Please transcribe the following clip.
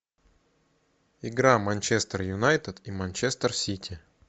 игра манчестер юнайтед и манчестер сити